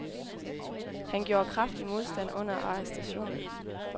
Han gjorde kraftig modstand under arrestationen.